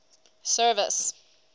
service